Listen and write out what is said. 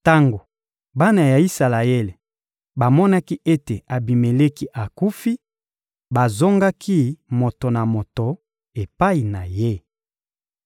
Tango bana ya Isalaele bamonaki ete Abimeleki akufi, bazongaki moto na moto epai na ye.